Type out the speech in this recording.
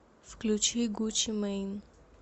включи гуччи мэйн